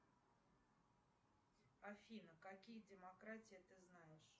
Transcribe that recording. афина какие демократии ты знаешь